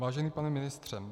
Vážený pane ministře.